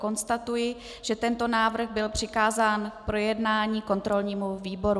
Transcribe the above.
Konstatuji, že tento návrh byl přikázán k projednání kontrolnímu výboru.